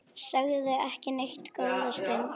Sögðu ekki neitt góða stund.